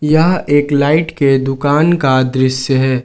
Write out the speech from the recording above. यह एक लाइट के दुकान का दृश्य है।